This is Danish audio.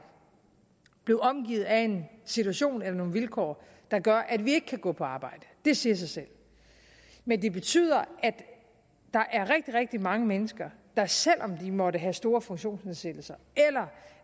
blive omfattet af en situation eller nogle vilkår der gør at vi ikke kan gå på arbejde det siger sig selv men det betyder at der er rigtig rigtig mange mennesker der selv om de måtte have store funktionsnedsættelser eller